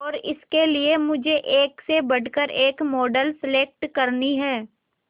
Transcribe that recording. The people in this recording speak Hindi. और इसके लिए मुझे एक से बढ़कर एक मॉडल सेलेक्ट करनी है